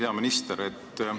Hea minister!